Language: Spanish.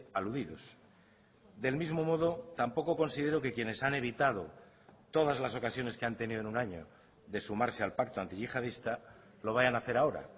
aludidos del mismo modo tampoco considero que quienes han evitado todas las ocasiones que han tenido en un año de sumarse al pacto antiyihadista lo vayan a hacer ahora